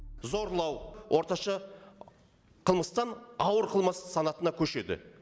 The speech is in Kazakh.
зорлау орташа қылмыстан ауыр қылмыс санатына көшеді